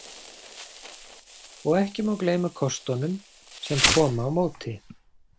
Og ekki má gleyma kostunum sem koma á móti.